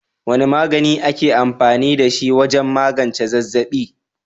Wane magani ake amfani da shi wajen magance zazzaɓi?